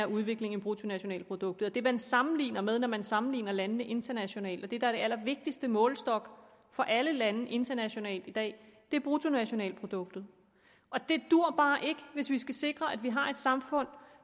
udviklingen i bruttonationalproduktet det man sammenligner med når man sammenligner landene internationalt og det der allervigtigste målestok for alle lande internationalt i dag er bruttonationalproduktet det duer bare ikke hvis vi skal sikre at det her samfund